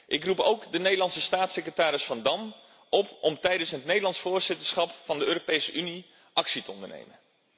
Ik roep ook de Nederlandse staatssecretaris Van Dam op om tijdens het Nederlands voorzitterschap van de Europese Unie actie te ondernemen.